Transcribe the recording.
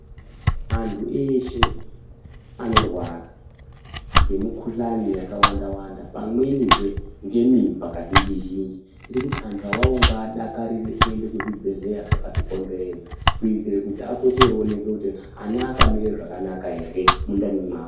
Antu eshe anorwara ngemukuhlani yakawanda-wanda pamwenizve ngemimba kazhinji-zhinji. Tirikuti antu awawo ngaadakarire kuende kuzvibhedhlera zvakatikomberedza kuitira kuti apote aoneke kuti ana akamira zvakanaka here mundani mwawo.